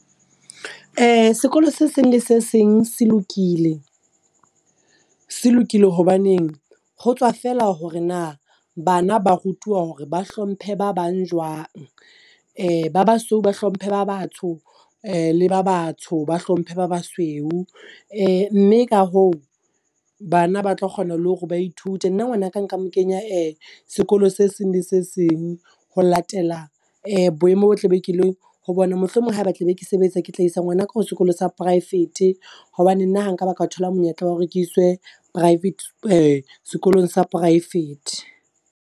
Sekolo se seng le se seng se lokile se lokile hobaneng, ho tswa feela hore na bana ba rutuwa hore ba hlomphe ba bang jwang. Ba basweu ba hlomphe ba batsho le ba batsho ba hlomphe ba basweu. Mme ka hoo bana ba tlo kgona le hore ba ithute nna ngwana ka nka mo kenya sekolo se seng le se seng. Ho latela boemo bo tla be ke le ho bona, mohlomong ha e be tla be ke sebetsa. Ke tla isa ngwana ka ho sekolo sa poraefete hobane nna ha nka ba ka thola monyetla wa hore ke iswe private sekolong sa poraefete.